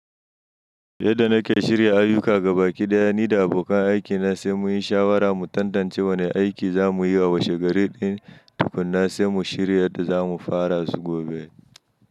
Yadda nake shirya ayyuka ga baki ɗaya, ni da abokan aikina sai muyi shawara mu tantance wane aiki za muyi wa wace gari ɗin, tukunna sai mu shirya yadda za mu fara su gobe.